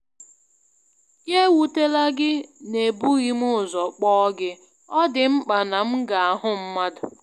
Ya ewutela gị n'ebughị m ụzọ kpọọ gị, ọ dị mkpa na m ga-ahụ mmadụ.